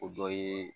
O dɔ ye